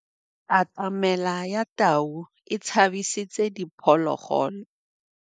Katamêlô ya tau e tshabisitse diphôlôgôlô.